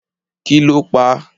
Kì lọ pà?